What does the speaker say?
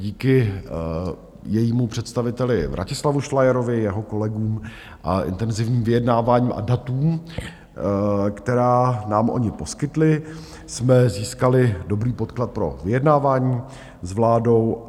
Díky jejímu představiteli Vratislavu Šlajerovi, jeho kolegům a intenzivním vyjednáváním a datům, která nám oni poskytli, jsme získali dobrý podklad pro vyjednávání s vládou.